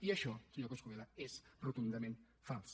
i això senyor coscubiela és rotundament fals